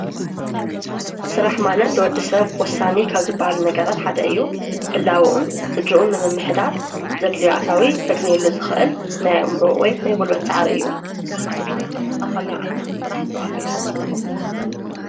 ሥራሕ ማለት ልወዲ ሰብ ወሳኒ ካብ ዝበሃሉ ነገራት ሓደ እዩ ህላውዑን ጽድዑን ንምምኅዳር ዘድልዮኣታዊ ከግኔሉ ዝኽእል ናይ እምሮዕ ወይ ናይብልበት ጸዓር እዩ ምስኻትምከ ኣብ ኸሚ ዓይነት ሥራሕ ተዋፊርኾም ኣለኹም?